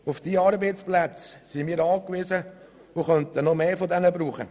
Auf diese Arbeitsplätze sind wir angewiesen, und wir könnten noch mehr gebrauchen.